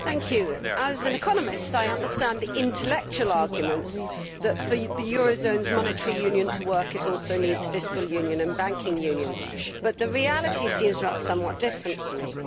Mr President, as an economist I understand the intellectual arguments that for the euroszone's monetary union to work it also needs fiscal union and banking union, but the reality seems somewhat different to me.